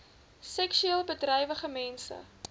seksueel bedrywige mense